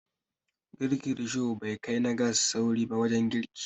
Girkin Risho bai kai na gas sauri ba wajen girki